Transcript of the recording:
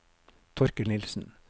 Torkel Nilsen